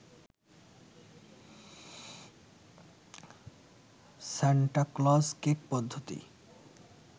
Santa Claus cake পদ্ধতি